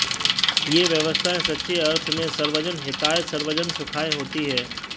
ये व्यवस्थाएं सच्चे अर्थ में सर्वजन हिताय सर्वजन सुखाय होती हैं